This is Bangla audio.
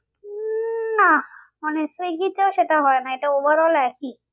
না মানে সুইগীতেও সেটা হয় না এটা overall একই